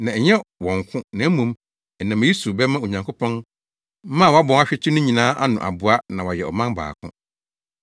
na ɛnyɛ wɔn nko, na mmom ɛnam eyi so bɛma Onyankopɔn mma a wɔabɔ ahwete no nyinaa ano aboa na wɔayɛ ɔman baako.